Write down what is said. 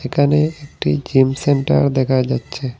একানে একটি gym centre দেখা যাচ্ছে।